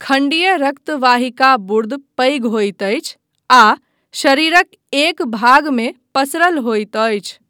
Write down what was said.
खंडीय रक्तवाहिकार्बुद पैघ होइत अछि आ शरीरक एक भागमे पसरल होइत अछि।